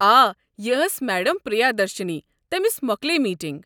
آ، یہِ ٲس میڈم پریا درشنی، تٔمس مۄكلییہِ میٖٹنٛگ۔